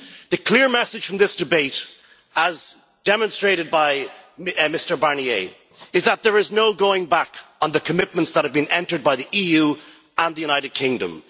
The clear message from this debate, as demonstrated by Mr Barnier, is that there is no going back on the commitments that have been entered into by the EU and the United Kingdom